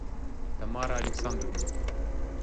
тамара александровна